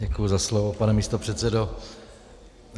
Děkuji za slovo, pane místopředsedo.